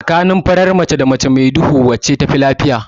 Tsakanin farar mace da mace mai duhu wacce tafi lafiya?